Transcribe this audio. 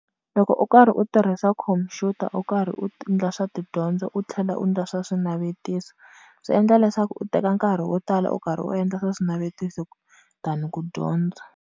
Loko u karhi u tirhisa computer u karhi u ti ndla swa tidyondzo u tlhela u ndla swa swinavetiso, swi endla leswaku u teka nkarhi wo tala u karhi u endla swa swinavetiso than ku dyondza.